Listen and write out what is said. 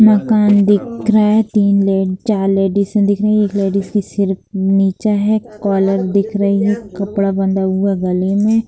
मकान दिख रहा है तीन ले चार लेडिस दिख रही हैं एक लेडिस का सिर नीचा है कोलर दिख रही है कपड़ा बंधा हुआ है गले में।